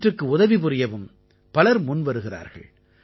இவற்றுக்கு உதவி புரியவும் பலர் முன்வருகிறார்கள்